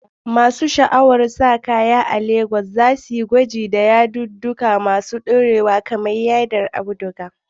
Masu sha'awar kayan sawa a Legas za su yi gwaji da yadudduka masu dorewa kamar yadin auduga.